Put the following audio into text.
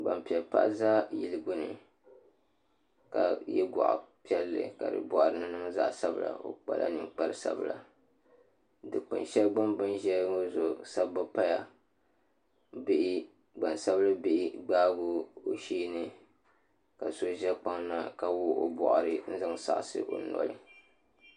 Gbanpiɛli paɣa ʒɛ yili gbuni ka yɛ goɣa piɛlli ka di boɣari ni niŋ zaɣ sabila o kpala ninkpari sabila dikpuni shɛli gbuni bi ni ʒɛya ŋɔ zuɣu sabbu paya gban sabili bihi gbaagi o sheeni ka so ʒɛ kpaŋ na ka wuɣu o boɣari zaŋ saɣasi o noli